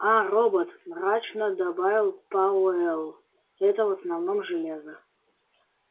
а робот мрачно добавил пауэлл это в основном железо